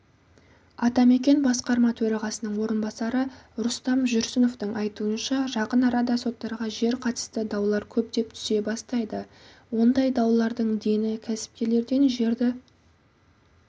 атамекен басқарма төрағасының орынбасары рустам жүрсіновтың айтуынша жақын арада соттарға жер қатысты даулар көптеп түсе бастайды ондай даулардың дені кәсіпкерлерден жерді